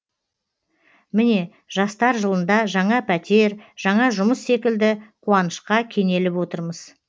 міне жастар жылында жаңа пәтер жаңа жұмыс секілді қуанышқа кенеліп отырмыз